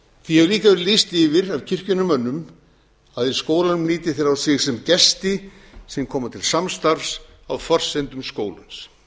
því hefur líka verið lýst yfir af kirkjunnar mönnum að í skólanum líti þeir á sig sem gesti sem koma til samstarfs á forsendum skólans